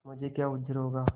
मुझे क्या उज्र होगा